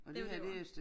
Det var dét det var